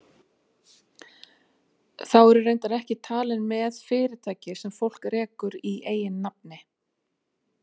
Þá eru reyndar ekki talin með fyrirtæki sem fólk rekur í eigin nafni.